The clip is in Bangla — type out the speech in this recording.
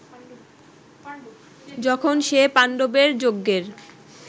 যখন সে পাণ্ডবের যজ্ঞের